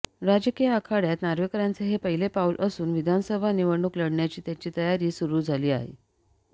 राजकीय आखाड्यात नार्वेकरांचे हे पहिले पाऊल असून विधानसभा निवडणूक लढण्याची त्यांची तयारी सुरु झाली आहे